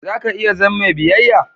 Za ka iya zam mai biyayya?